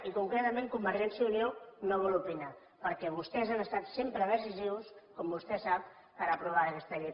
i concretament convergència i unió no vol opinar perquè vostès han estat sempre decisius com vostè sap per aprovar aquesta llei